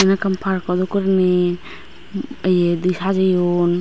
ahvekkan parko dokkey gurinei ye di sajeyon.